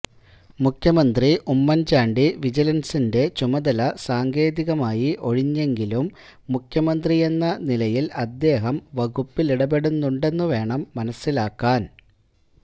മുഖ്യമന്ത്രി ഉമ്മന്ചാണ്ടി വിജിലന്സിന്റെ ചുമതല സാങ്കേതികമായി ഒഴിഞ്ഞെങ്കിലും മുഖ്യമന്ത്രിയെന്ന നിലയില് അദ്ദേഹം വകുപ്പിലിടപെടുന്നുണ്ടെന്നു വേണം മനസ്സലാക്കാന്